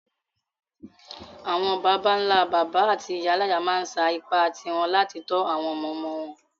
Àwon bàbánlá-bàbá áti ìyáláyá ma n sa ipá ti won láti to àwon ọmọ-ọmọ won